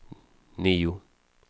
nio